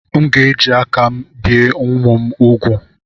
M ga-eji aka mbìe ụmụ m úgwù